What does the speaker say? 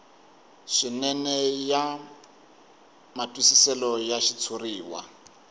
swinene ya matwisiselo ya xitshuriwa